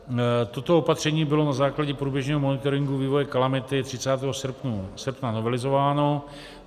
Toto opatření bylo na základě průběžného monitoringu vývoje kalamity 30. srpna novelizováno.